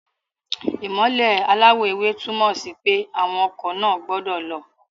Ìmọ́lẹ̀ aláwọ̀ ewé túmọ̀ sí pé àwọn ọkọ̀ náà gbọ́dọ̀ lọ